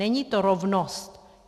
Není to rovnost.